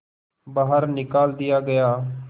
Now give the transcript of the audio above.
बाहर निकाल दिया गया